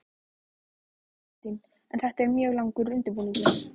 Þóra Kristín: En þetta er mjög langur undirbúningur?